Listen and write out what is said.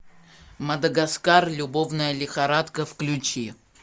мадагаскар любовная лихорадка включи